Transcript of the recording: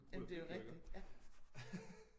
Jamen det er jo rigtigt ja